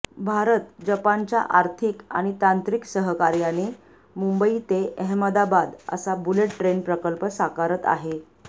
भारत जपानच्या आर्थिक आणि तांत्रिक सहकार्याने मुंबई ते अहमदाबाद असा बुलेट ट्रेन प्रकल्प साकारत आहे